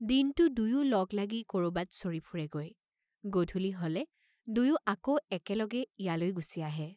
দিনটো দুয়ো লগ লাগি কৰবাত চৰি ফুৰেগৈ, গধূলি হলে দুয়ো আকৌ একে লগে ইয়ালৈ গুচি আহে।